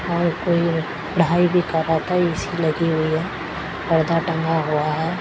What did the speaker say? और कोई पढ़ाई भी कर रहा था ए_सी लगी हुई है पर्दा टंगा हुआ है।